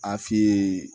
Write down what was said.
A f'i ye